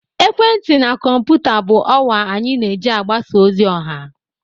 ekwentị na kọmputa bụ ọwa anyị na-eji mgbasa ozi ọha